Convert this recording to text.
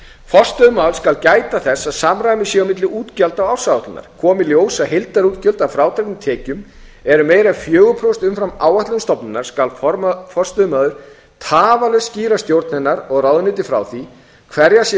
forstöðumaður skal gæta þess að samræmi sé á milli útgjalda og ársáætlunar komi í ljós að heildarútgjöld að frádregnum tekjum eru meira en fjögur prósent umfram áætlun stofnunar skal forstöðumaður tafarlaust skýra stjórn hennar og ráðuneyti frá því hverjar séu